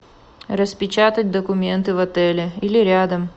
распечатать документы в отеле или рядом